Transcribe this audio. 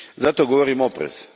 Zato govorim oprez.